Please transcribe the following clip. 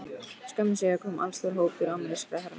Skömmu síðar kom allstór hópur amerískra hermanna að